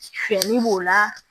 Fiɲɛni b'o la